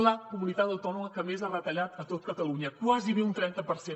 la comunitat autònoma que més ha retallat a tot espanya gairebé un trenta per cent